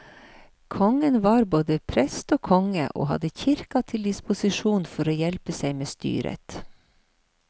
Kongen var både prest og konge, og hadde kirka til disposisjon for å hjelpe seg med styret.